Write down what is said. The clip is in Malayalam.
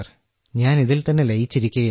ഞാൻ ഇതിൽത്തന്നെ ലയിച്ചിരിക്കുകയാണ്